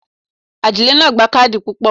Adílẹ́ náà gba Kádì pupa.